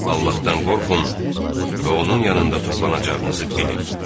Allahdan qorxun və onun yanında toplanacağınızı bilin.